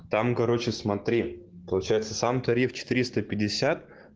там короче смотри получается сам тариф четыресто пятьдесят